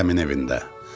Dədəmin evində.